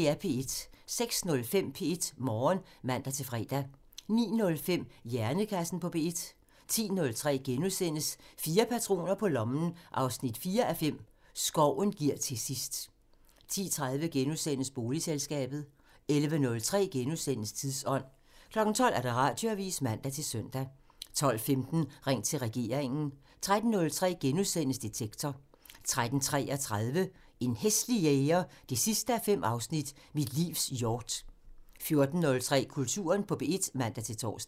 06:05: P1 Morgen (man-fre) 09:05: Hjernekassen på P1 (man) 10:03: Fire patroner på lommen 4:5 – Skoven giver til sidst * 10:30: Bogselskabet *(man) 11:03: Tidsånd *(man) 12:00: Radioavisen (man-søn) 12:15: Ring til regeringen (man) 13:03: Detektor *(man) 13:33: En hæslig jæger 5:5 – Mit livs hjort 14:03: Kulturen på P1 (man-tor)